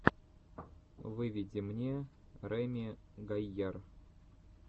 выведи мне реми гайяр